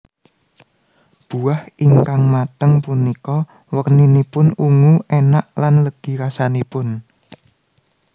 Buah ingkang mateng punika werninipun ungu enak lan legi rasanipun